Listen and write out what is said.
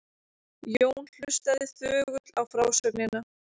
Jón hlustaði þögull á frásögnina.